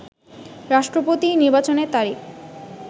রাষ্ট্রপতি নির্বাচনের তারিখ